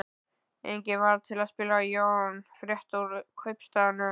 Enginn varð til að spyrja Jón frétta úr kaupstaðnum.